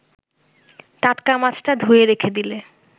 টাটকা মাছটা ধুয়ে রেখে দিলে